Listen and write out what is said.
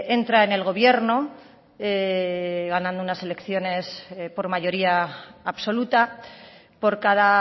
entra en el gobierno ganando unas elecciones por mayoría absoluta por cada